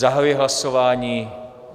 Zahajuji hlasování.